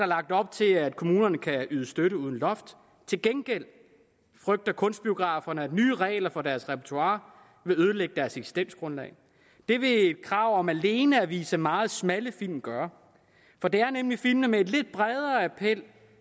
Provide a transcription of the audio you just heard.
lagt op til at kommunerne kan yde støtte uden loft til gengæld frygter kunstbiograferne at nye regler for deres repertoire vil ødelægge deres eksistensgrundlag det vil et krav om alene at vise meget smalle film gøre for det er nemlig film med en lidt bredere appel